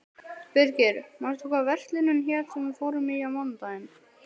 Birgir, manstu hvað verslunin hét sem við fórum í á mánudaginn?